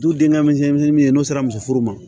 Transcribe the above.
Du denkɛ misɛnnin ye n'o sera muso furu ma